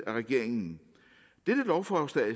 af regeringen dette lovforslag